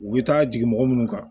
U bɛ taa jigin mɔgɔ munnu kan